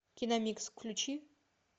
киномикс включи